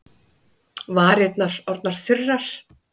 Varirnar orðnar þurrar.